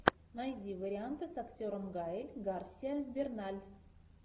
найди варианты с актером гаэль гарсиа берналь